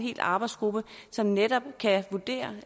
en arbejdsgruppe som netop kan vurdere